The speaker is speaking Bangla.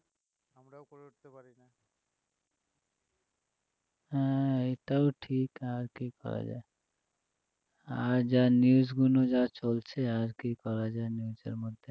হ্যাঁ এটাও ঠিক আর কী করা যায় আর যা news গুলো যা চলছে আর কীও পাওয়া যায় news এর মধ্যে